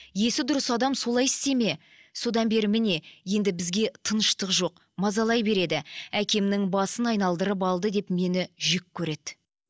есі дұрыс адам солай істейді ме содан бері міне енді бізге тыныштық жоқ мазалай береді әкемнің басын айналдырып алды деп мені жеккөреді